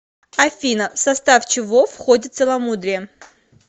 афина в состав чего входит целомудрие